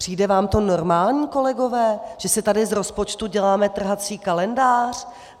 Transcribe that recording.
Přijde vám to normální, kolegové, že si tady z rozpočtu děláme trhací kalendář?